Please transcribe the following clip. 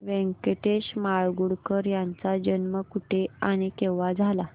व्यंकटेश माडगूळकर यांचा जन्म कुठे आणि केव्हा झाला